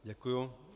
Děkuji.